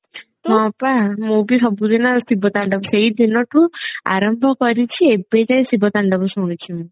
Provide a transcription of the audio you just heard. ହଁ ପା ମୁଁ ବି ସବୁ ଦିନ ଶିବ ତାଣ୍ଡବ ସେଇ ଦିନଠୁ ଆରମ୍ଭ କରିଛି ଏବେ ଯାଏଁ ଶିବ ତାଣ୍ଡବ ଶୁଣୁଛି ମୁଁ